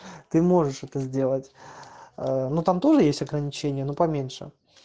ты можешь это сделать аа но там тоже есть ограничение ну поменьше